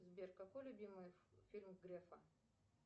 сбер какой любимый фильм грефа